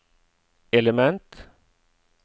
element